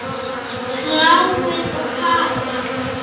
Þráinn og Kara.